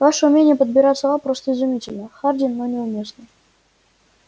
ваше умение подбирать слова просто изумительно хардин но неуместно